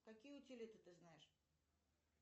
какие утилиты ты знаешь